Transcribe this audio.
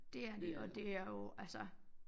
Det er de og det er jo altså